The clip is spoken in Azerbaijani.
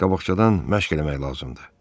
Qabaqcadan məşq eləmək lazımdır.